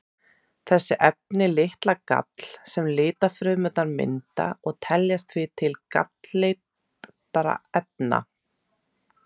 Þessi efni lita gall sem lifrarfrumurnar mynda og teljast því til galllitarefna.